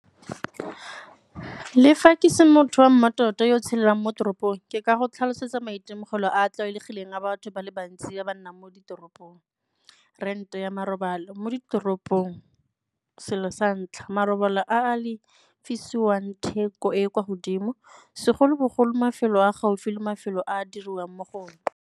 Le fa ke se motho wa mmatota yo tshelelang mo toropong, ke ka go tlhalosetsa maitemogelo a a tlwaelegileng a batho ba le bantsi ba ba nnang mo ditoropong. Rent-e ya marobalo, mo ditoropong selo sa ntlha, marobalo a a lefisiwang theko e e kwa godimo segolobogolo mafelo a gaufi le mafelo a a diriwang mo go one.